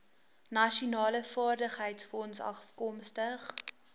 nasionale vaardigheidsfonds afkomstig